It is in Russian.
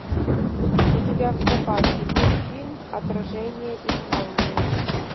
у тебя в запасе есть фильм отражение исландии